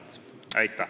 Aitäh!